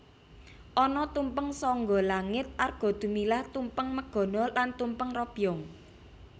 Ana tumpeng sangga langit Arga Dumilah Tumpeng Megono lan Tumpeng Robyong